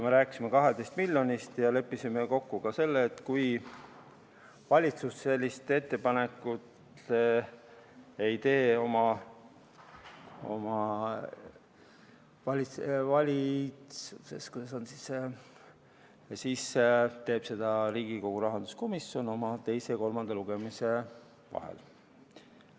Me rääkisime 12 miljonist ja leppisime kokku ka selle, et kui valitsus sellist ettepanekut ei tee, siis teeb seda Riigikogu rahanduskomisjon teise ja kolmanda lugemise vahel.